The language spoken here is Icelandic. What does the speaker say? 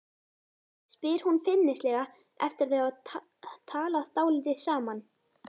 spyr hún feimnislega eftir að þau hafa talað dálítið saman.